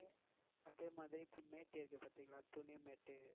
அதே மாதிரி இப்போ mat இருக்கு பாத்தீங்களா?